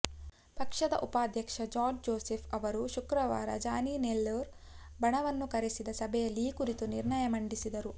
ಪಕ್ಷದ ಉಪಾಧ್ಯಕ್ಷ George Joseph ಅವರು ಶುಕ್ರವಾರ ಜಾನಿ ನೆಲ್ಲೂರ್ ಬಣವನ್ನು ಕರೆಸಿದ ಸಭೆಯಲ್ಲಿ ಈ ಕುರಿತು ನಿರ್ಣಯ ಮಂಡಿಸಿದರು